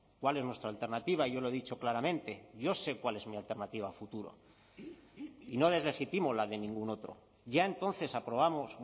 cuál es nuestra alternativa yo lo he dicho claramente yo sé cuál es mi alternativa a futuro y no deslegitimo la de ningún otro ya entonces aprobamos